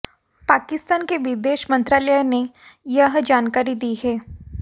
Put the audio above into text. पाकिस्तान के विदेश मंत्रालय ने यह जानकारी दी है